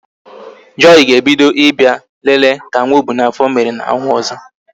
Joy ga-ebido Ị bịa lele ka nwa ọ bu n'afọ mere n'ọnwa ọzọ